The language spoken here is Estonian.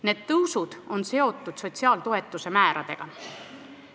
Need tõusud on seotud sotsiaaltoetuste määradega.